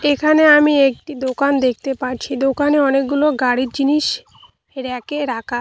এখানে আমি একটি দোকান দেখতে পারছি দোকানে অনেকগুলো গাড়ির জিনিস ব়্যাক এ রাকা।